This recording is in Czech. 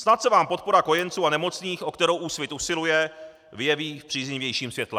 Snad se vám podpora kojenců a nemocných, o kterou Úsvit usiluje, vyjeví v příznivějším světle.